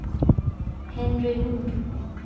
Henry Nord